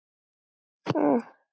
Nú er það svart, maður.